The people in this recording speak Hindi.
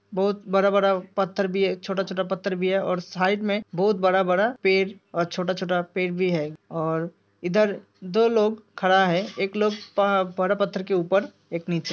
बोहोत बड़ा-बड़ा पत्थर भी हैं छोटा-छोटा पत्थर भी हैं और साइड में बोहोत बड़ा-बड़ा पेड़ और छोटा -छोटा पेड़ भी हैं और इधर दो लोग खड़ा है। एक लोग बड़े पत्थर के ऊपर एक नीचे --